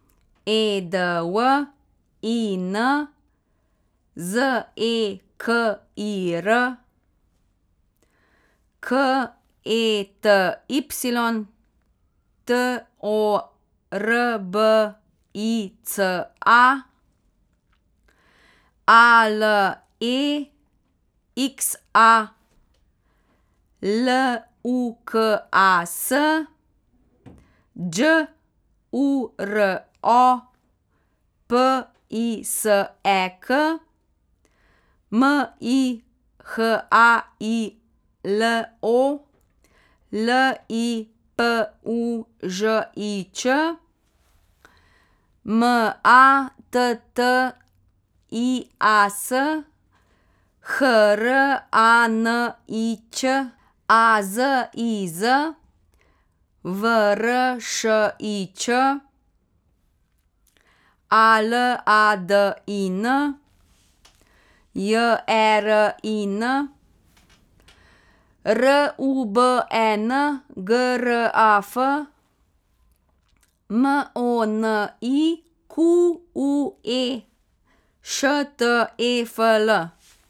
E D W I N, Z E K I R; K E T Y, T O R B I C A; A L E X A, L U K A S; Đ U R O, P I S E K; M I H A I L O, L I P U Ž I Č; M A T T I A S, H R A N I Ć; A Z I Z, V R Š I Č; A L A D I N, J E R I N; R U B E N, G R A F; M O N I Q U E, Š T E F L.